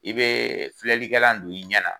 I be filɛlikɛlan don i ɲɛ na.